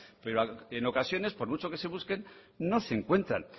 pero en ocasiones por mucho que se busquen no se encuentran